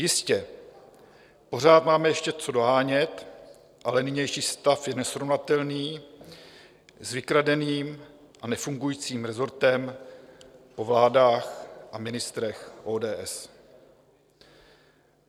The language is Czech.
Jistě, pořád máme ještě co dohánět, ale nynější stav je nesrovnatelný s vykradeným a nefungujícím resortem po vládách a ministrech ODS.